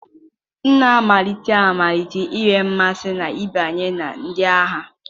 M na-amalite ịmalite inwe mmasị n'ịbanye na ndị agha.